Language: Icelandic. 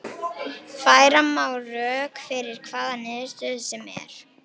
Færa má rök fyrir hvaða niðurstöðu sem er.